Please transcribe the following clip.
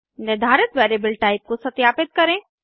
निर्धारित variable type को सत्यापित करें